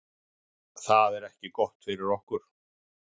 Það er ekki gott fyrir okkur